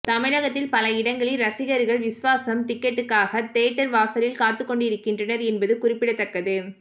தமிழகத்தில் பல இடங்களில் ரசிகர்கள் விஸ்வாசம் டிக்கெட்டிற்காக தியேட்டர் வாசலில் காத்து கொண்டிருக்கின்றனர் என்பது குறிப்பிடத்தக்கது